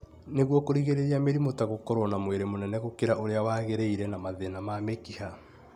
nĩguo kũrigĩrĩria mĩrimũ ta gũkorwo na mwĩrĩ mũnene gũkĩra ũrĩa wagĩrĩire na mathina ma mĩkiha